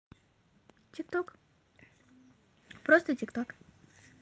тик ток просто тик ток